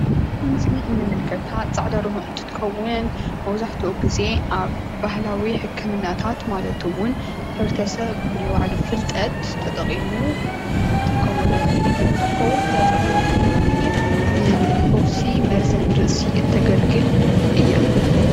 ኣብዚ ምስሊ እንምልከታ ፃዕዳ ደርሆ እንትትከውን መብዛሕትኡ ግዚ ኣብ ባህላዊ ሕክምናታት ማለት እውን ሕ/ብረተሰብ ብናይ ባዕሉ ፍልጠት ተጠቂሙ ብናይ ባዕሉ ፍልጠት ዝጥቀመምሎም መድሓኒታት እነነትትኸውን እዛ ፃዕዳ ደርሆ ድማነየየይ ንፈውሲ መርዘን ርእሲ እተገልግል እያ።